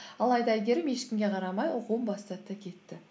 алайда әйгерім ешкімге қарамай оқуын бастады да кетті